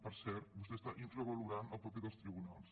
per cert vostè està infravalorant el paper dels tribunals